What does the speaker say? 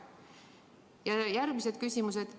Ja järgmised küsimused.